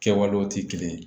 Kɛwalew tɛ kelen ye